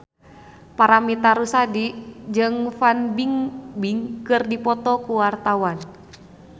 Paramitha Rusady jeung Fan Bingbing keur dipoto ku wartawan